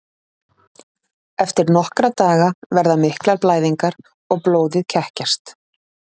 Eftir nokkra daga verða miklar blæðingar og blóðið kekkjast.